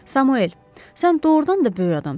Samuel, sən doğurdan da böyük adamsan.